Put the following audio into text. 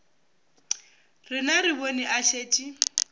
rena re bone o šetše